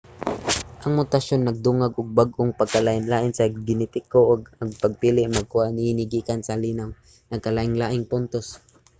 ang mutasyon nagdungag og bag-ong pagkalainlain sa genetiko ug ang pagpili magkuha niini gikan sa linaw nga nagkalainlaing puntos